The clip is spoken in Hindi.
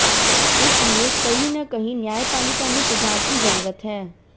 इसलिए कहीं न कहीं न्यायपालिका में सुधार की जरूरत है